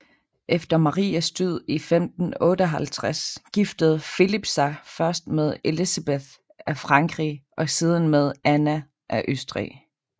Efter Marias død i 1558 giftede Filip sig først med Elizabeth af Frankrig og siden med Anna af Østrig